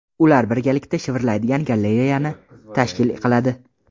Ular birgalikda shivirlaydigan galereyani tashkil qiladi.